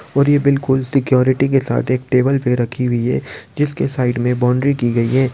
और ये बिलकुल सिक्यूरिटी के साथ एक टेबल पे रखी हुई है जिसके सामने साइड मे बाउंड्री की गई है।